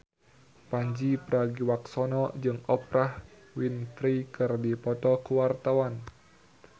Pandji Pragiwaksono jeung Oprah Winfrey keur dipoto ku wartawan